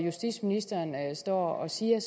justitsministeren står og siger